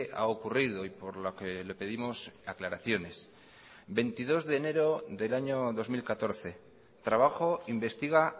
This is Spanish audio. ha ocurrido y por lo que le pedimos aclaraciones veintidos de enero del año dos mil catorce trabajo investiga